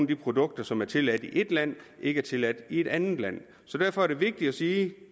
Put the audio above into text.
de produkter som er tilladt i ét land ikke er tilladt i et andet land så derfor er det vigtigt at sige at